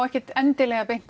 ekkert endilega